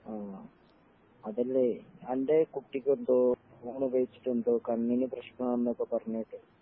ആഹ് അതല്ലേ അൻ്റെ കുട്ടിക്ക് എന്തോ ഫോൺ ഉപയോഗിച്ചിട്ട് എന്തോ കണ്ണിന് പ്രശ്നം ആണെന്നൊക്കെ പറഞ്ഞുകേട്ടു